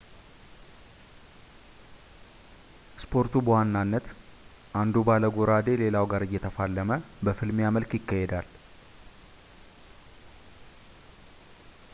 ስፖርቱ በዋናነት አንዱ ባለጎራዴ ሌላው ጋር እየተፋለመ በፍልሚያ መልክ ይካሄዳል